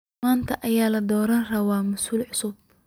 Manta aya ladoranirawa massul cusub.